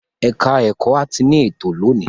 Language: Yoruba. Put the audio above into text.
Ẹ̀ka-ẹ̀kọ́ áátì ní ètò lónìí.